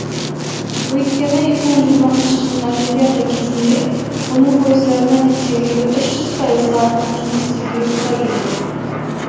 өйткені екі мың жиырмасыншы жылғы олимпиада кезінде оның пойыздарына әдеттегіден үш жүз пайызға артық жұмыс істеуге тура келеді